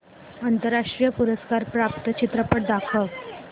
राष्ट्रीय पुरस्कार प्राप्त चित्रपट दाखव